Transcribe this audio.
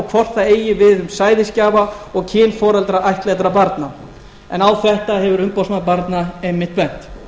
hvort það eigi við um sæðisgjafa og kynforeldra ættleiddra barna en á þetta hefur umboðsmaður barna einmitt bent